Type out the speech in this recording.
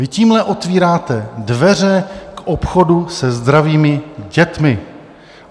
Vy tímhle otevíráte dveře k obchodu se zdravými dětmi.